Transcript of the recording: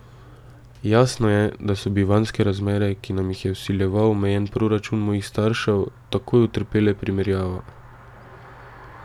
Jasno je, da so bivanjske razmere, ki nam jih je vsiljeval omejen proračun mojih staršev, takoj utrpele primerjavo.